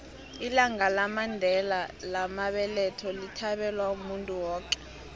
ilanga lamandela lamabeletho lithabelwa muntu woke